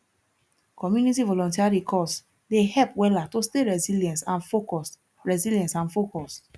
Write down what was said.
community volunteering course dey help wella to stay resilient and focused resilient and focused